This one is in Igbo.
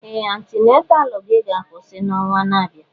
Ee! Antenataalụ gị ga-akwụsị n'ọnwa na-abịa.